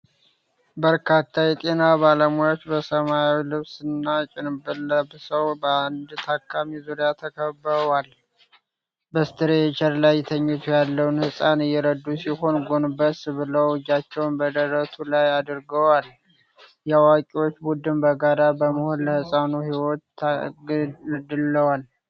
በርካታ የጤና ባለሙያዎች በሰማያዊ ልብስና ጭንብል ለብሰው በአንድ ታካሚ ዙሪያ ተከብበዋል። በስትሬቸር ላይ ተኝቶ ያለን ህፃን እየረዱ ሲሆን፣ ጎንበስ ብለው እጃቸውን በደረቱ ላይ አድርገዋል። የአዋቂዎች ቡድን በጋራ በመሆን ለሕፃኑ ሕይወት ታግለዋል?